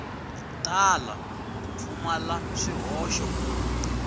tala ku pfumala swihoxo ku